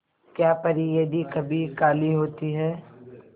क्या परी यदि कभी काली होती है